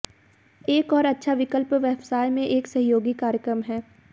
एक और अच्छा विकल्प व्यवसाय में एक सहयोगी कार्यक्रम है